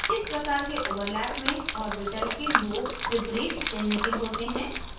इस प्रकार के overlap में orbitals के lobes विपरीत चिन्ह के होते हैं